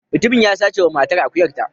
Mutumin ya sace wa matar akuyarta.